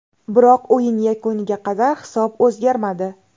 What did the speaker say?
Biroq o‘yin yakuniga qadar hisob o‘zgarmadi.